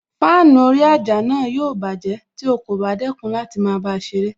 Fáànù orí àjà náà yóò bájẹ̀ tí o kò bá dẹ́kun láti máa bá a ṣeré